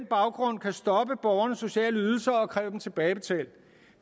baggrund kan stoppe borgernes sociale ydelser og kræve dem tilbagebetalt